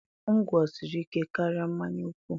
Ngwo siri ike karịa mmanya nkwụ